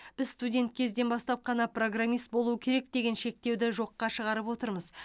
біз студент кезден бастап қана программист болу керек деген шектеуді жоққа шығарып отырмыз